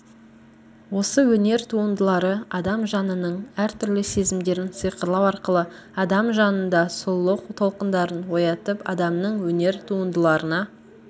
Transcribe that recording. осы өнер туындылары адам жанының әртүрлі сезімдерін сиқырлау арқылы адам жанында сұлулық толқындарын оятып адамның өнер туындыларына